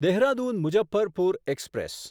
Dehradun Muzaffarpur express